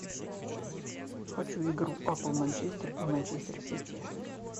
хочу игру апл манчестер и манчестер сити